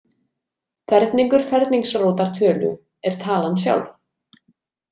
Ferningur ferningsrótar tölu, er talan sjálf.